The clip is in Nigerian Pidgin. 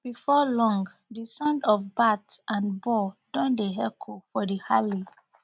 bifor long di sound of bat and ball don dey echo for di alley